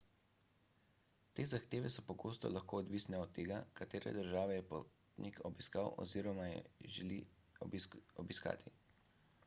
te zahteve so pogosto lahko odvisne od tega katere države je potnik obiskal oziroma jih želi obiskati